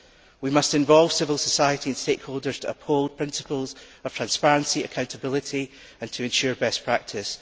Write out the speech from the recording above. We must involve civil society and stakeholders to uphold principles of transparency and accountability and to ensure best practice.